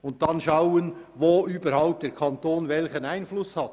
Dann müssen wir schauen, wo der Kanton welchen Einfluss hat.